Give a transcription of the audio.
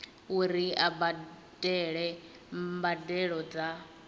uri a badele mbadelo dza